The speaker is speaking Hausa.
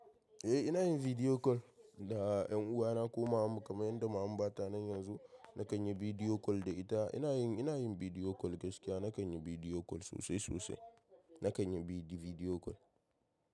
Eh ina yin video call da ƴan uwana ko mamanmu kamar yadda mamanmu ba ta nan yanzu. Na kanyi video call da ita. Ina yin, ina yin video call gaskiya. Na kanyi bidiyo call sosai sosai. Na bidiyo bi di video call.